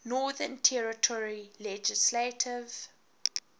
northern territory legislative